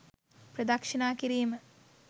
ප්‍රදක්ෂිණා කිරීම